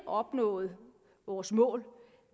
opnået vores mål